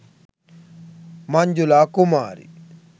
manjula kumari